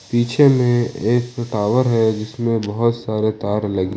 पीछे में एक टावर है जिसमें बहुत सारे तार लगी--